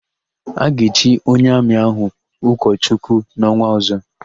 A ga-echi onye Amị ahụ ụkọchukwu n'ọnwa ọ̀zọ́.